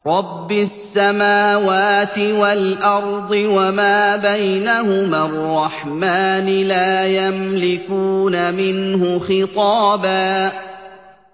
رَّبِّ السَّمَاوَاتِ وَالْأَرْضِ وَمَا بَيْنَهُمَا الرَّحْمَٰنِ ۖ لَا يَمْلِكُونَ مِنْهُ خِطَابًا